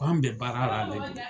Ko an bɛ baara la